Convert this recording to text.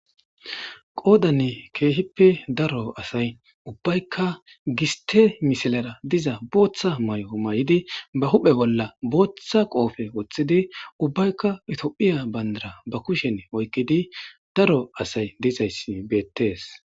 Qoodanne keehippe daro asay ubbaykka giste misilara diza booththa mayo may'idi ba huphe bolla booththa qoofe woththidi ubbaykka itophiya bayndara ba kushen oykkidi daro asay dizayssi beettees.